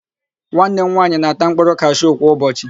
Nwanne m nwaanyị na-ata mkpụrụ kashu kwa ụbọchị.